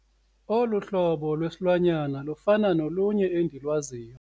Olu hlobo lwesilwanyana lufana nolunye endilwaziyo.